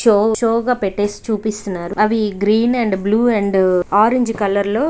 Show show గా పెట్టి చూపిస్తున్నారు. అవి green and blue and orange colour లో --